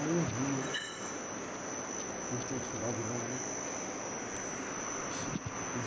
Aí um dia, já tinha observado demais, né?